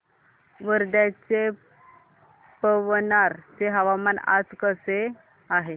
वर्ध्याच्या पवनार चे हवामान आज कसे आहे